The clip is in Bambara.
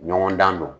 Ɲɔgɔndan don